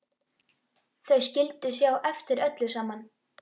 Þau skyldu sjá eftir öllu saman.